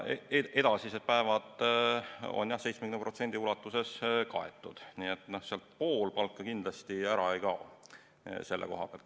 Edasised päevad on 70% ulatuses kaetud, nii et sealt pool palka kindlasti ära ei kao.